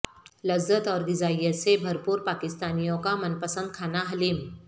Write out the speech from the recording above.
لذت اور غذائیت سے بھرپور پاکستانیوں کا من پسند کھانا حلیم